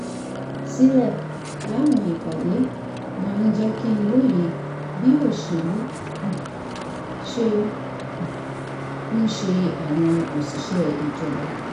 sílẹ̀ láwọn ìpàdé máa ń jẹ́ kí n lóye bí òṣèlú um ṣe um ń ṣe àwọn òṣìṣẹ́ ìjọba